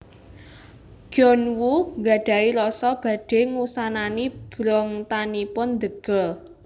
Gyun Woo gadhahi rasa badhe ngusanani brongtanipun The Girl